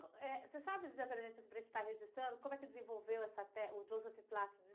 Eh, você sabe dizer para a gente, só para estar registrando, como é que ele desenvolveu essa té, o Joseph Pilates de?